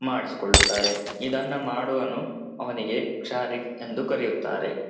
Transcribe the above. ಮಾಡೀಕೊಳ್ಳುತ್ತಾರೆ ಇದನ್ನು ಮಾಡುವನು ಅವ್ನಿಗೆ ಕ್ಷಾರೀಕ್ ಎಂದು ಕರೆಯುತ್ತಾರೆ.